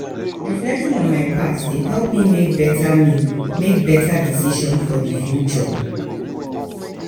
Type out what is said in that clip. reflecting on my past dey help me make better me make better decisions for the future.